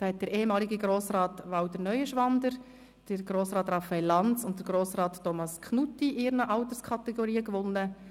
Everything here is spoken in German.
Der ehemalige Grossrat Walter Neuenschwander, Grossrat Lanz und Grossrat Knutti haben in ihren Alterskategorien gewonnen.